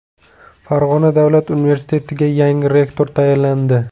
Farg‘ona davlat universitetiga yangi rektor tayinlandi.